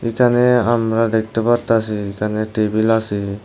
এখানে আমরা দেখতে পারতাসি এখানে টেবিল আছে।